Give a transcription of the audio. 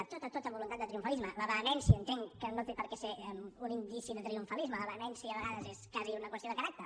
tota tota voluntat de triomfalisme la vehemència entenc que no té per què ser un indici de triomfalisme la vehemència a vegades és quasi una qüestió de caràcter